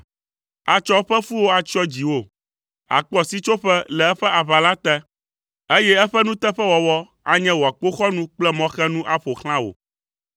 Atsɔ eƒe fuwo atsyɔ dziwò, àkpɔ sitsoƒe le eƒe aʋala te, eye eƒe nuteƒewɔwɔ anye wò akpoxɔnu kple mɔxenu aƒo xlã wò.